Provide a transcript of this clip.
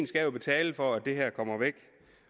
skal jo betale for at det her kommer væk